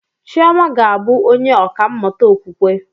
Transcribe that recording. Chioma ga-abụ onye ọkà mmụta okwukwe